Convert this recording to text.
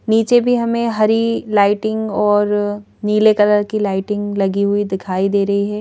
नीचे भी हमें हरी लाइटिंग और नीले कलर की लाइटिंग लगी हुई दिखाई दे रही है।